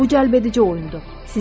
Bu cəlbedici oyundur.